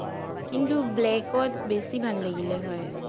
কিন্তু black ত বেছি ভাল লাগিলে হয়